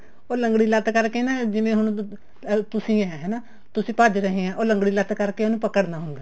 ਉਹ ਲੰਗੜੀ ਲੱਤ ਕਰਕੇ ਨਾ ਜਿਵੇਂ ਹੁਣ ਤੁਸੀਂ ਏਂ ਹਨਾ ਤੁਸੀਂ ਭੱਜ ਰਹੇ ਹਾਂ ਲੰਗੜੀ ਲੱਤ ਕਰਕੇ ਉਹਨੂੰ ਪਕੜਨਾ ਹੁੰਦਾ